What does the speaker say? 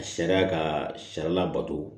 Sariya ka sariya labato